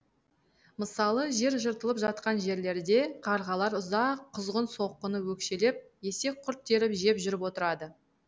мысалы жер жыртылып жатқан жерлерде қарғалар ұзақ құзғын соқаны өкшелеп есекқұрт теріп жеп жүріп отырады